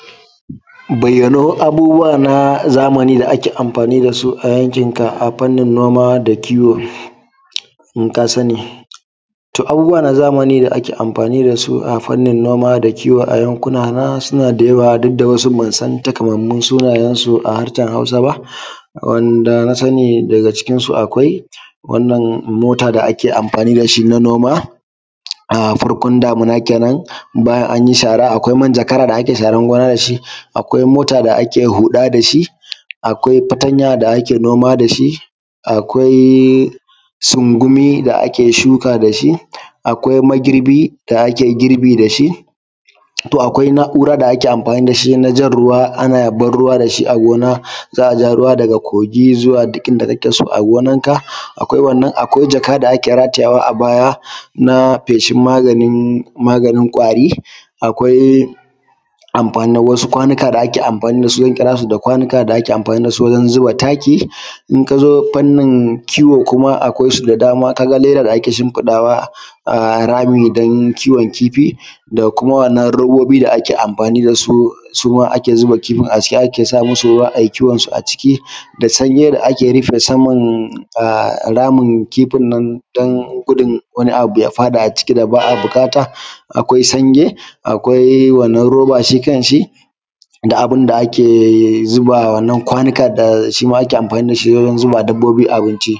Bayyano abubuwa na zamani da ake amfani da su a yankinka fannin noma da kiwo in ka sani. To abubuwa na zamani da ake amfani da su a fannin noma da kiwo a yankina suna da yawa ban san takamaiman sunayensu a harshen Hausa ba. Amma na sani daga cikinsu akwai Mota da ake amfani da shi wajen noma farkon damuna kenan wannan akwai mijagara da ake sharen gona da shi, akwai mota da ake huda da shi, akwai fatanya da ake noma da shi akwai kuma sungumi da ake shuka da shi akwai magirbi da ake girbi da shi. To akwai na'ura da ake amfani da shi na jan ruwa daga kogi zuwa duk inda kake so a gonanka, akwai abun ratayawa na maganin kwari akwai wasu kwanuka da ake amfani da su zan kira su kwanuka na zuba taki. In ka zo fanni kiwo kuma akwai su da dama kamar leda dake shimfiɗawa a rami don kiwo kifi da kuma wannan roba da ake amfani da su kuma ciki ake zuba ruwa ake kiwon su, da sanyi ake rife saman kifin nan don gudun wani abun ya faɗa a ciki da ba a buƙata. Akwai sange akwai wannan robo shi kan shi akwai abun da ake zuba wannan kwanuka wurin zuba wa dabbobi abinci